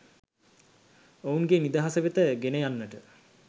ඔවුන්ගේ නිදහස වෙත ගෙන යන්නට